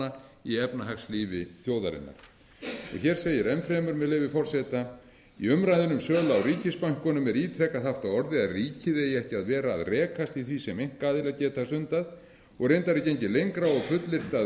undirstöðustofnana í efnahagslífi þjóðarinnar hér segir enn fremur með leyfi forseta í umræðunni um sölu á ríkisbönkunum er ítrekað haft á orði að ríkið eigi ekki að vera að rekast í því sem einkaaðilar geta stundað og reyndar er gengið lengra og fullyrt að